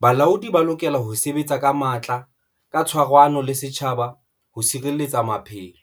Balaodi ba lokela ho sebetsa ka matla ka tshwarano le setjhaba ho sireletsa maphelo.